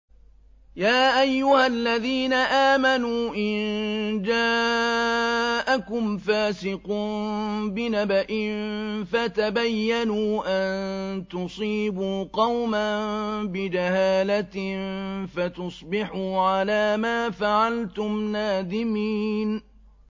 يَا أَيُّهَا الَّذِينَ آمَنُوا إِن جَاءَكُمْ فَاسِقٌ بِنَبَإٍ فَتَبَيَّنُوا أَن تُصِيبُوا قَوْمًا بِجَهَالَةٍ فَتُصْبِحُوا عَلَىٰ مَا فَعَلْتُمْ نَادِمِينَ